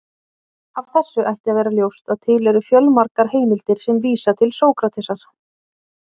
Af þessu ætti að vera ljóst að til eru fjölmargar heimildir sem vísa til Sókratesar.